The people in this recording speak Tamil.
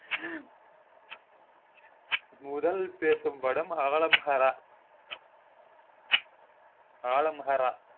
முதல்பேசும் படம் அஹ்லம் ஹரா ஆலம் ஹரா